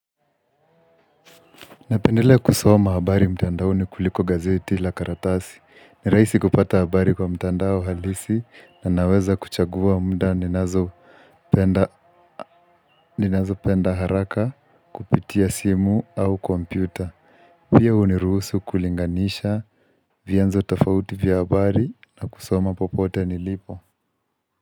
Napendelea kusoma habari mtandaoni kuliko gazeti la karatasi. Ni rahisi kupata habari kwa mtandao halisi na naweza kuchagua mda ninazopenda haraka kupitia simu au kompyuta. Pia huniruhusu kulinganisha vyenzo tafauti vya habari na kusoma popote nilipo.